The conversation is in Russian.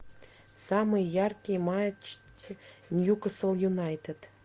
самый яркий матч ньюкасл юнайтед